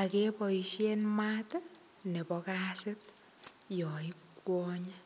akeboishen maat nebo kasit yo ikwonye.